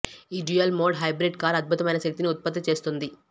ఈ dual mode hybrid car అద్భుతమైన శక్తిని ఉత్పత్తి చేస్తుంది